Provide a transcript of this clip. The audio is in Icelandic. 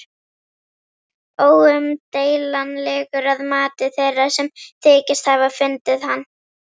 Óumdeilanlegur að mati þeirra, sem þykjast hafa fundið hann.